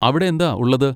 അവിടെന്താ ഉള്ളത്?